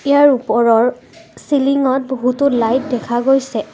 ইয়াৰ ওপৰৰ চিলিংত বহুতো লাইট দেখা গৈছে।